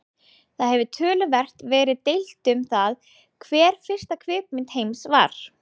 Það hefur töluvert verið deilt um það hver fyrsta kvikmynd heims var.